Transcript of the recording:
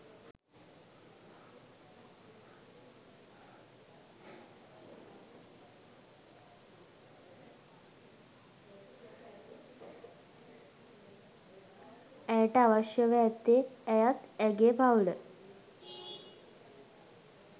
ඇයට අවශ්‍යව ඇත්තේ ඇයත් ඇගේ පවු‍ල